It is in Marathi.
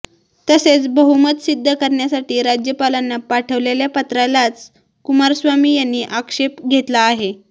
तसेच बहुमत सिद्ध करण्यासाठी राज्यपालांना पाठवलेल्या पत्रालाच कुमारस्वामी यांनी आक्षेप घेतला आहे